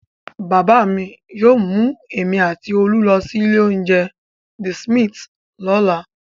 Bàbá mi yóò mú èmi àti Olú lọ sí ilé-oúnjẹ The Smith lọ́la.